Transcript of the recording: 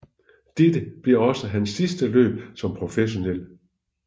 Dette blev også hans sidste løb som professionel